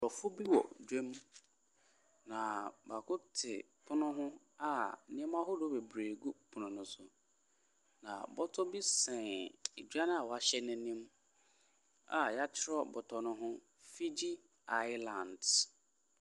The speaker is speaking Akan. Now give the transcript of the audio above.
Nkurɔfo bi wɔ dwam, na baako te pono ho a nneɛma ahodoɔ bebree gu pono no so, na bɔtɔ bi sɛn dwa no a wɔasɛn no anim a wɔatwerɛ bɔtɔ no ho, "Figgi Island".